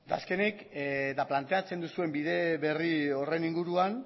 azkenik eta planteatzen duzuen bide berri horren inguruan